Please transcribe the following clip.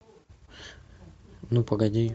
ну погоди